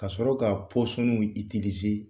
Ka sɔrɔ ka